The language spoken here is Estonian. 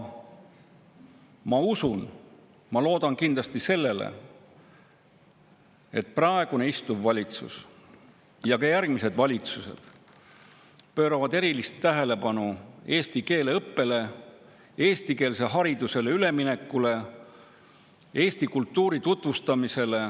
Ma usun seda ja ma loodan sellele, et praegune valitsus pöörab ja ka järgmised valitsused pööravad erilist tähelepanu eesti keele õppele, eestikeelsele haridusele üleminekule, eesti kultuuri tutvustamisele.